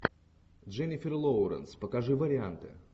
дженнифер лоуренс покажи варианты